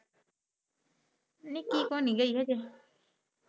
ਨਿਕੀ ਕੋਨੀ ਗਈ ਹਜੇ।